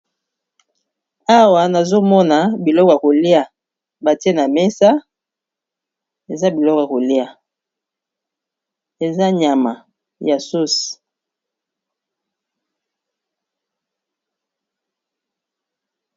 awa nazomona biloko ya kolia batie na mesa eza biloko kolia eza nyama ya sauce